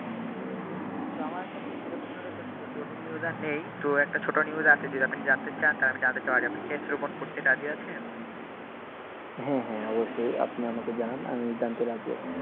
তো আমার কাছে সেরকমভাবে জটিল news আর নেই তো একটা ছোটো news আছে যদি আপনি জানতে চান রাজি আছেন?